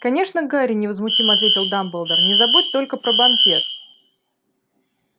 конечно гарри невозмутимо ответил дамблдор не забудь только про банкет